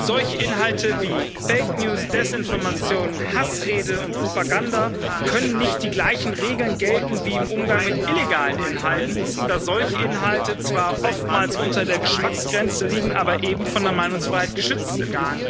Für solche Inhalte wie fake news, Desinformationen, Hassrede und Propaganda können nicht die gleichen Regeln gelten wie im Umgang mit illegalen Inhalten, da solche Inhalte zwar oftmals unter der Geschmacksgrenze liegen, aber eben von der Meinungsfreiheit geschützt sind.